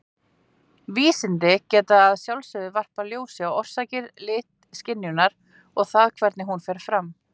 Vísindin geta að sjálfsögðu varpað ljósi á orsakir litaskynjunar og það hvernig hún fer fram.